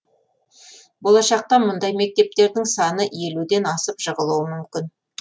болашақта мұндай мектептердің саны елуден асып жығылуы мүмкін